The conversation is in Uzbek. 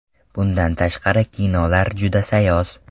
Bundan tashqari kinolar juda sayoz.